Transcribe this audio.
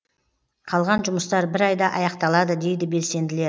қалған жұмыстар бір айда аяқталады дейді белсенділер